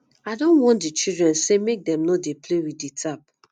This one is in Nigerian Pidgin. i don warn di children sey make dem no dey play with di tap